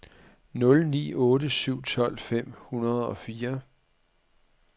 nul ni otte syv tolv fem hundrede og fire